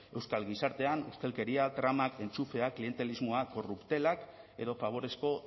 euskal gizartean ustelkeria trama entxufean klientelismoa korruptelak edo faborezko